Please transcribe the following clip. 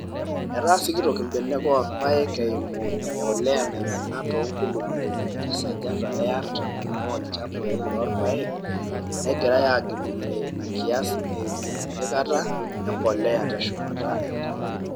Etaa sikitok mbenek oo irpaek eimu embolea naimina to nkulupuok tesajata e arrtam oo ilchambai loo irpaek negirai aagilinore ina kias eimu empikata e mpolea teshumata enkop.